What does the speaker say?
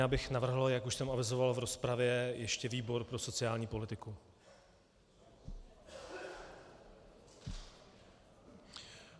Já bych navrhl, jak už jsem avizoval v rozpravě, ještě výbor pro sociální politiku.